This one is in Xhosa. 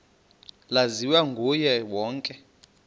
laziwa nguye wonke